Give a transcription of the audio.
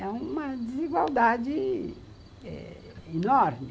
É uma desigualdade enorme.